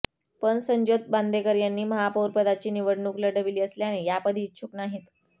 पण संज्योत बांदेकर यांनी महापौरपदाची निवडणूक लढविली असल्याने यापदी इच्छूक नाहीत